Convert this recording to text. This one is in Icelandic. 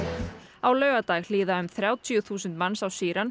á laugardag hlýða um þrjátíu þúsund manns á